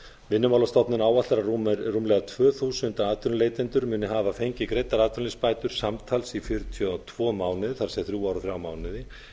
vinnumálastofnun áætlar að rúmlega tvö þúsund atvinnuleitendur muni hafa fengið greiddar atvinnuleysisbætur samtals í fjörutíu og tvo mánuði það er samtals í þrjú ár og þrjá mánuði